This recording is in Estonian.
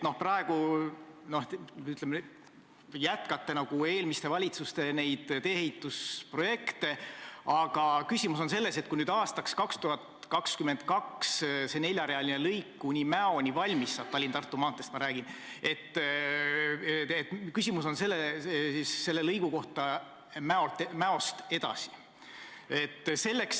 Praegu te jätkate nagu eelmiste valitsuste tee-ehitusprojekte, aga küsimus on selles, et kui aastaks 2022 neljarealine lõik kuni Mäoni valmis saab , siis mis saab lõigust, mis Mäost edasi jääb.